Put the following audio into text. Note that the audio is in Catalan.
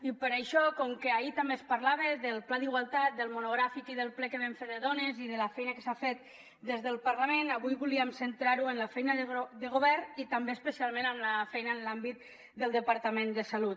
i per això com que ahir també es parlava del pla d’igualtat del monogràfic i del ple que vam fer de dones i de la feina que s’ha fet des del parlament avui volíem centrar ho en la feina de govern i també especialment en la feina en l’àmbit del departament de salut